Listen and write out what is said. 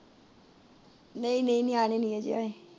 ਨਹੀਂ ਨਹੀਂ ਨਿਆਣੇ ਨਹੀਂ ਅਜੇ ਆਏ